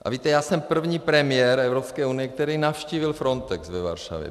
A víte, já jsem první premiér Evropské unie, který navštívil Frontex ve Varšavě.